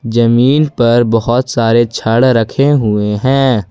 जमीन पर बहोत सारे छड़ रखे हुए हैं।